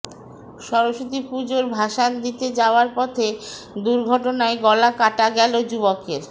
সরস্বতী পুজোর ভাসান দিতে যাওয়ার পথে দুর্ঘটনায় গলা কাটা গেল যুবকের